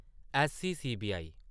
ऐस्ससी - CBI